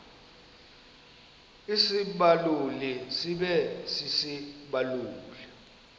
isibaluli sibe sisibaluli